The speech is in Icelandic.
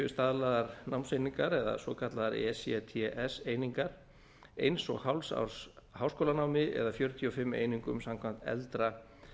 staðlaðar námseiningar eða svokallaðar ects einingar eins og hálfs árs háskólanámi eða fjörutíu og fimm einingum samkvæmt eldra